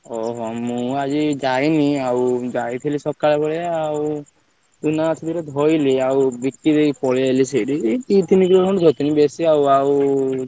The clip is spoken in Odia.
ଓହୋ ମୁଁ ଆଜି ଯାଇନି ଆଉ ଯାଇଥିଲି ସକାଳ ବେଳିଆ ଆଉ ଆଉ ବିକି ଦେଇ ପଳେଇଆଇଲିସେଇଠି ଦି ତିନ କିଲ ଖଣ୍ଡେ ଧରିଥିଲି ବେଶୀ ଆଉ ଆଉ ସୋଇଥିଲି ଏବେ ଉଠିଲି ଆଉ